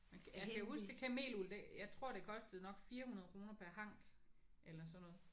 Men kan jeg kan huske det kameluld det jeg tror det kostede nok 400 kroner per hank eller sådan noget